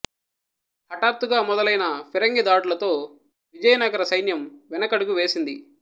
హఠాత్తుగా మొదలైన ఫిరంగి దాడులతో విజయనగర సైన్యం వెనకడుగు వేసింది